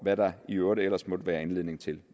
hvad der i øvrigt ellers måtte være anledning til